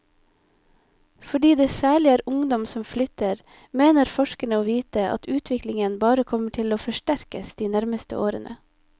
Fordi det særlig er ungdom som flytter, mener forskerne å vite at utviklingen bare kommer til å forsterkes de nærmeste årene.